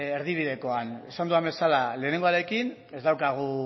erdibidekoan esan dudan bezala lehenengoarekin ez daukagu